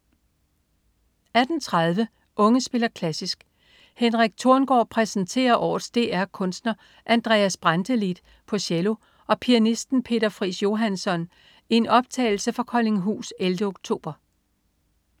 18.30 Unge spiller klassisk. Henrik Torngaard præsenterer årets DR kunstner Andreas Brantelid på cello og pianisten Peter Friis Johansson i en optagelse fra Koldinghus 11. oktober